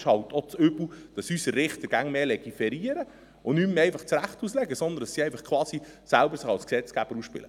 Es ist das Übel, dass unsere Richter immer mehr legiferieren und nicht mehr einfach das Recht auslegen, sondern dass sie sich quasi als Gesetzgeber aufspielen.